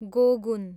गोगुन